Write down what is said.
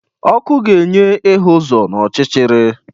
Ọkụ ga-enye ihu uzo n'ọchịchịrị.